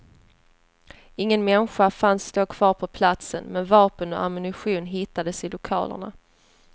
Ingen människa fanns då kvar på platsen, men vapen och ammunitionen hittades i lokalerna.